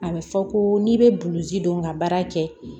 A bɛ fɔ ko n'i bɛ buluji don nga baara kɛ